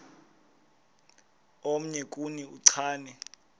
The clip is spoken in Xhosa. omnye kuni uchane